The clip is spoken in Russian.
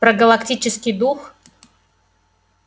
про галактический дух